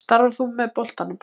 Starfar þú með boltanum?